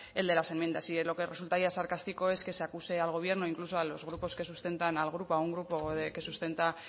el de las enmiendas y lo que resultaría sarcástico es que se acuse al gobierno incluso a los grupos que sustentan al grupo a un grupo que sustenta